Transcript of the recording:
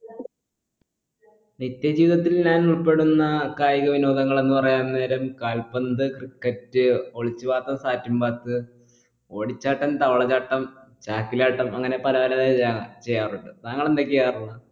നിത്യ ജീവിതത്തിൽ ഞാൻ ഉൾപ്പെടുന്ന കായിക വിനോദങ്ങൾ എന്ന് പറയാൻ നേരം കാൽപ്പന്ത് ക്രിക്കറ്റ് ഒളിച്ച് പാത്തും sat ൻ പാത്ത് ഓടിച്ചാട്ടം താവളച്ചാട്ടം ചാക്കിലാട്ടം അങ്ങനെ പലതരം ചെയ്യാറുണ്ട് താങ്കൾ എന്തൊക്കെ ചെയ്യാറുള്ള